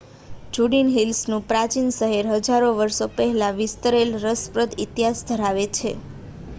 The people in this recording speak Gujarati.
જુડિન હિલ્સ નું પ્રાચીન શહેર હજારો વર્ષો થી વિસ્તરેલ રસપ્રદ ઇતિહાસ ધરાવે છે